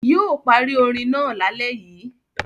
Yóò parí orin náà lálẹ́ yìí.